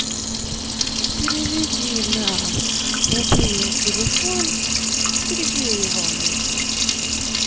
переведи на мобильный телефон сергея ивановича